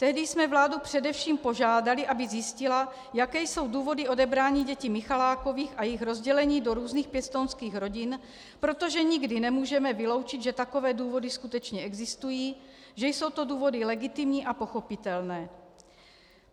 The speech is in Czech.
Tehdy jsme vládu především požádali, aby zjistila, jaké jsou důvody odebrání dětí Michalákových a jejich rozdělení do různých pěstounských rodin, protože nikdy nemůžeme vyloučit, že takové důvody skutečně existují, že jsou to důvody legitimní a pochopitelné.